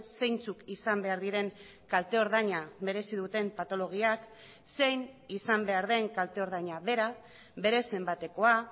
zeintzuk izan behar diren kalte ordaina merezi duten patologiak zein izan behar den kalte ordaina bera bere zenbatekoa